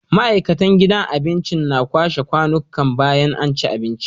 Ma'aikatan gidan abincin na kwashe kwanikan bayan anci abinci